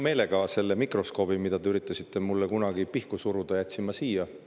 Ma selle mikroskoobi, mida te üritasite mulle kunagi pihku suruda, jätsin siia.